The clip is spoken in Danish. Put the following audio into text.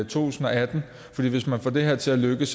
tusind og atten for hvis man får det her til at lykkes